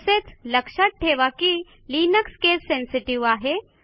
तसेच लक्षात टेवा की लिनक्स केस सेन्सेटिव्ह आहे